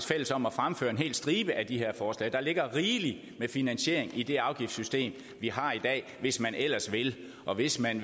fælles om at fremføre en hel stribe af de her forslag der ligger rigeligt med finansiering i det afgiftssystem vi har i dag hvis man ellers vil og hvis man